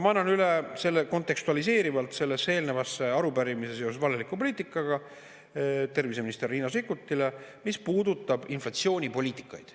Ma annan üle kontekstualiseerivalt sellesse eelnevasse arupärimisse seoses valeliku poliitikaga arupärimise terviseminister Riina Sikkutile, mis puudutab inflatsioonipoliitikaid.